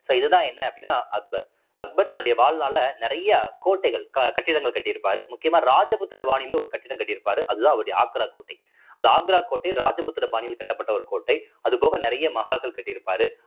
so இதுதான் என்ன அப்படின்னா அக்பர் அக்பர் தன்னுடைய வாழ்நாள்ல நிறைய கோட்டைகள் க~ கட்டிடங்கள் கட்டி இருப்பாரு முக்கியமா ராஜபுத்திர பாணியிலயே ஒரு கட்டிடம் கட்டியிருப்பாரு அதுதான் அவருடைய ஆக்ரா கோட்டை அந்த ஆக்ரா கோட்டை ராஜபுத்திர பாணியில் கட்டப்பட்ட ஒரு கோட்டை அது போக நிறைய மஹால்கள் கட்டியிருப்பாரு